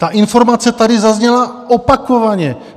Ta informace tady zazněla opakovaně.